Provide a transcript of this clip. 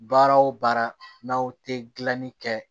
Baara o baara n'a tɛ gilanni kɛ